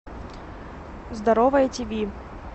здоровое тв